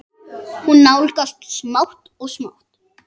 Hún nálgast smátt og smátt.